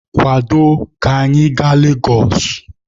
Kwado ka anyị gaa Legosụ!